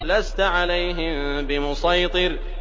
لَّسْتَ عَلَيْهِم بِمُصَيْطِرٍ